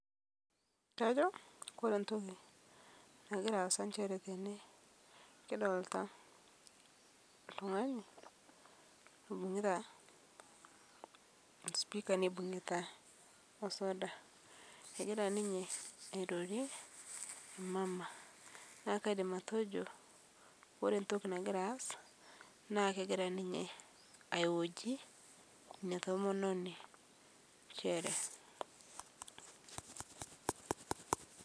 Ore entoki nagira asaa njere tene kidolita oltung'ani oibungita sipika nibungita soda egira ninye airorie emama neeku kaidim atejo ore entoki nagira aas naa kegira ninye aihoji ena tomononi